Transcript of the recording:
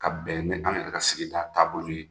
Ka bɛn ni an yɛrɛ ka sigida taabolo ye.